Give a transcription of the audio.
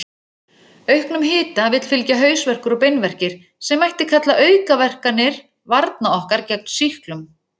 Auknum hita vill fylgja hausverkur og beinverkir, sem mætti kalla aukaverkanir varna okkar gegn sýklum.